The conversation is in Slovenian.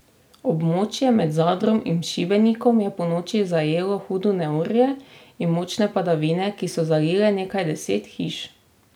Območje med Zadrom in Šibenikom je ponoči zajelo hudo neurje in močne padavine, ki so zalile nekaj deset hiš.